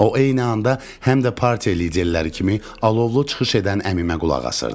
O eyni anda həm də partiya liderləri kimi alovlu çıxış edən əmimə qulaq asırdı.